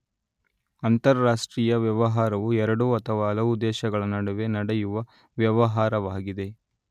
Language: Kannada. ಅಂತರಾಷ್ಟ್ರೀಯ ವ್ಯವಹಾರವು ಎರಡು ಅಥವಾ ಹಲವು ದೇಶಗಳ ನಡುವೆ ನಡೆಯುವ ವ್ಯವಹಾರವಾಗಿದೆ